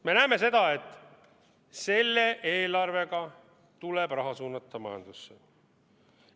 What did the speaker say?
Me näeme, et selle eelarvega tuleb raha suunata majandusse.